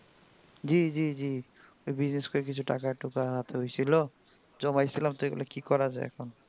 জি জি জি ওই business করে কিছু টাকাটা একটু হাতে ছিল জমাইছিলাম তো এগুলো এখুন কি করা যায়